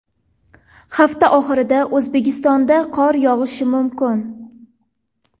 Hafta oxirida O‘zbekistonda qor yog‘ishi mumkin.